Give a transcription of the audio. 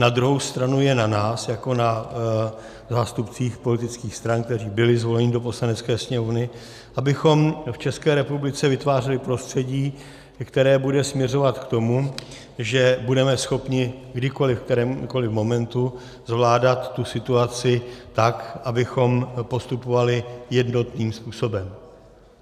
Na druhou stranu je na nás, jako na zástupcích politických stran, kteří byli zvoleni do Poslanecké sněmovny, abychom v České republice vytvářeli prostředí, které bude směřovat k tomu, že budeme schopni kdykoliv, v kterémkoliv momentu, zvládat tu situaci tak, abychom postupovali jednotným způsobem.